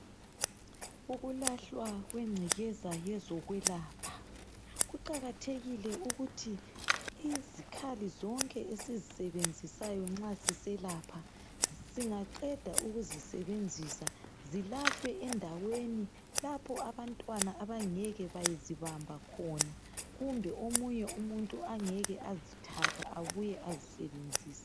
Ukulahlwa kwengcekeza yezokwelapha kuqakathekile ukuthi izikhathi zonke esizisebenzisayo nxa siselapha singaqeda ukuzisebenzisa zilahlwe endaweni lapho abantwana abangeke bazibamba khona kumbe omunye umuntu angeke azithatha abuye asisebenzise